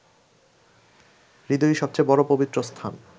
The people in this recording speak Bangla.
হৃদয়ই সবচেয়ে বড় পবিত্র স্থান